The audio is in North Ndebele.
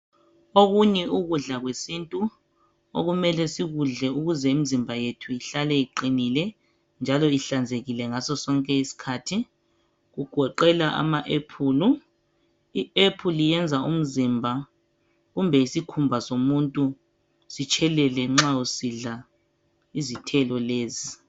Okunye ukudla kwesintu okumele sikudle ukuze imizimba yethu ihlale iqinile njalo ihlanzekile ngaso sonke isikhathi kugoqela ama ephulu, iapple liyenza umzimba kumbe isikhumba somuntu sitshelele nxa usidla izithelo lezi.